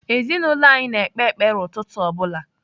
Ezinaụlọ anyị na-ekpe ekpere ụtụtụ ọ bụla.